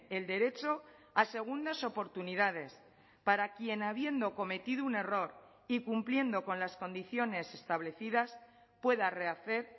el derecho a segundas oportunidades para quien habiendo cometido un error y cumpliendo con las condiciones establecidas pueda rehacer